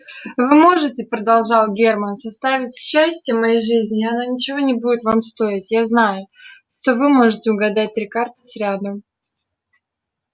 вы можете продолжал германн составить счастие моей жизни и оно ничего не будет вам стоить я знаю что вы можете угадать три карты сряду